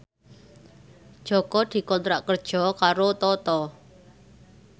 Jaka dikontrak kerja karo Toto